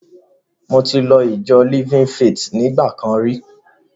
Mo ti lọ ìjọ Living Faith nígbà kan rí.